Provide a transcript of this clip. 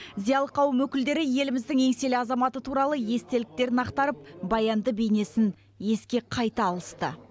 зиялы қауым өкілдері еліміздің еңселі азаматы туралы естеліктерін ақтарып баянды бейнесін еске қайта алысты